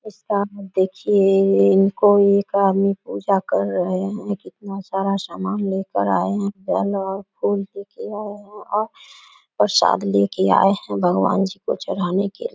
उसका हाथ देखिए इन इनको एक आदमी पूजा कर रहे हैं कितना सारा सामान लेकर आए हैं जल और फूल लेके आए हैं और प्रसाद लेके आए हैं भगवान जी को चढ़ाने के लिए ।